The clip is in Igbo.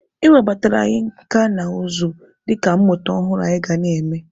E webatara anyị nka na ụzụ dịka mmụta ọhụrụ anyị ga na-eme.